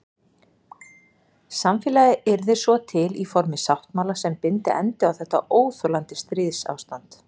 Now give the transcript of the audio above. Samfélagið yrði svo til í formi sáttmála sem byndi endi á þetta óþolandi stríðsástand.